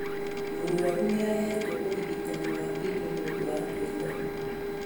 Mũrwaru nĩahetwo ũrigitani wa ini nĩũndũ wa kũimba